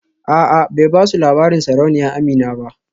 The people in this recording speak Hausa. A'a bai basu labarin sarauniya Amina ba